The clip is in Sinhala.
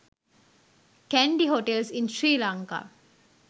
kandy hotels in sri lanka